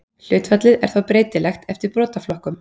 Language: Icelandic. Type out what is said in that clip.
Hlutfallið er þó breytilegt eftir brotaflokkum.